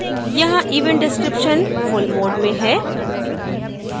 यहाँ event description full mode में है